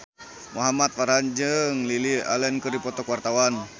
Muhamad Farhan jeung Lily Allen keur dipoto ku wartawan